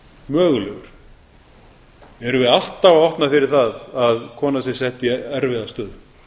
mögulegur erum við alltaf að opna fyrir það að kona sé sett í erfiða stöðu